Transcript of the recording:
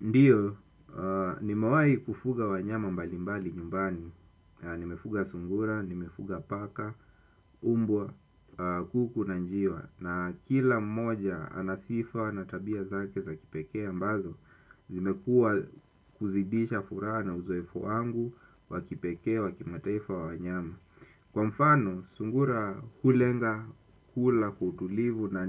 Ndiyo, nimewai kufuga wanyama mbalimbali nyumbani, nimefuga sungura, nimefuga paka, mbwa, kuku na njiwa. Na kila mmoja anasifa na tabia zake za kipekea ambazo, zimekuwa kuzidisha furaha na uzoefu wangu, wakipekee, wakimataifa wa wanyama. Kwa mfano, sungura hulenga kula kwa utulivu na